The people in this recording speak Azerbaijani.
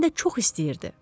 Həm də çox istəyirdi.